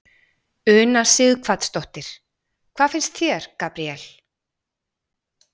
Una Sighvatsdóttir: Hvað finnst þér, Gabriel?